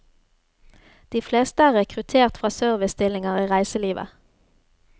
De fleste er rekruttert fra servicestillinger i reiselivet.